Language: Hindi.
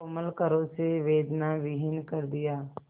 कोमल करों से वेदनाविहीन कर दिया